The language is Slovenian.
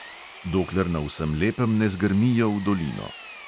Dokler na vsem lepem ne zgrmijo v dolino.